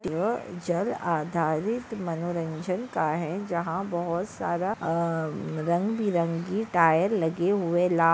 यह जल आधारित मनोरंजन का है जहा बहोत सारा अ अ रंगबिरंगी टायर लगे हुए ला--